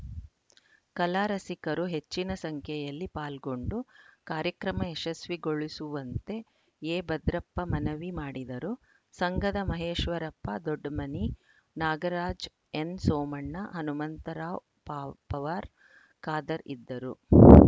ಕಲಾ ರಸಿಕರು ಹೆಚ್ಚಿನ ಸಂಖ್ಯೆಯಲ್ಲಿ ಪಾಲ್ಗೊಂಡು ಕಾರ್ಯಕ್ರಮ ಯಶಸ್ವಿಗೊಳಿಸುವಂತೆ ಎಭದ್ರಪ್ಪ ಮನವಿ ಮಾಡಿದರು ಸಂಘದ ಮಹೇಶ್ವರಪ್ಪ ದೊಡ್ಡಮನಿ ನಾಗರಾಜ ಎನ್‌ಸೋಮಣ್ಣ ಹನುಮಂತರಾವ್‌ ಪಾವ್ ಪವಾರ್‌ ಖಾದರ್‌ ಇದ್ದರು